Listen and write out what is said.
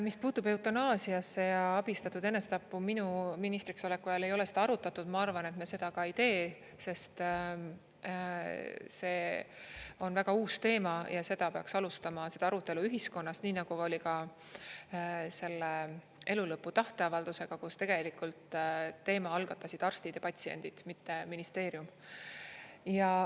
Mis puutub eutanaasiasse ja abistatud enesetappu, minu ministriks oleku ajal ei ole seda arutatud, ma arvan, et me seda ka ei tee, sest see on väga uus teema ja seda peaks alustama, seda arutelu ühiskonnas, nii nagu oli ka selle elulõpu tahteavaldusega, kus tegelikult teema algatasid arstid ja patsiendid, mitte ministeerium.